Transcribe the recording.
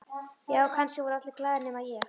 Já, kannski voru allir glaðir nema ég.